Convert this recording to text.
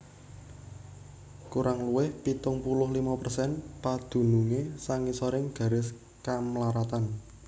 Kurang luwih pitung puluh limo persen padunungé sangisoring garis kamlaratan